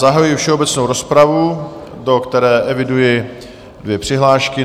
Zahajuji všeobecnou rozpravu, do které eviduji dvě přihlášky.